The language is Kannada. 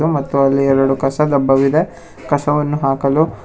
ಮತ್ತು ಅಲ್ಲಿ ಎರಡು ಕಸ ಡಬ್ಬವಿದೆ ಕಸವನ್ನು ಹಾಕಲು.